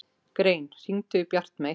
Grein, hringdu í Bjartmey.